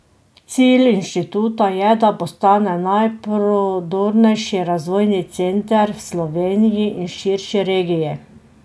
Cilj inštituta je, da postane najprodornejši razvojni center v Sloveniji in širši regiji.